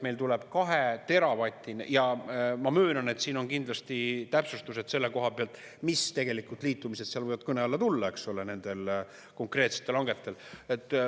Meil tuleb 2 teravatini ja ma möönan, et siin on kindlasti täpsustused selle koha pealt, mis tegelikult liitumised seal võivad kõne alla tulla, eks ole, nendel konkreetsetel hangetel.